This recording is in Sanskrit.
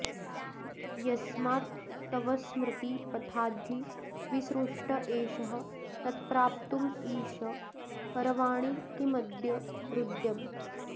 यस्मात्तवस्मृति पथाद्धि विसृष्ट एषः तत्प्राप्तुमीश करवाणि किमद्य हृद्यम्